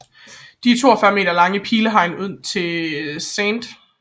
Det 42 meter lange pilehegn ud til Sct